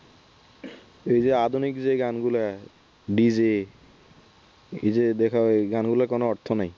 এই যে আধুনিক যে গানগুলা dj এইযে দেখ এই গানগুলোর কোন অর্থ নাই।